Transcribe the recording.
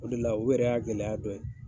O de la o yɛrɛ y'a gɛlɛya dɔ ye.